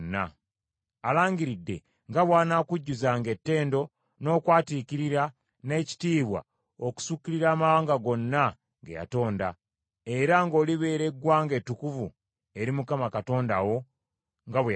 Alangiridde nga bw’anaakujjuzanga ettendo n’okwatiikirira n’ekitiibwa okusukkirira amawanga gonna ge yatonda, era ng’olibeera eggwanga ettukuvu eri Mukama Katonda wo, nga bwe yasuubiza.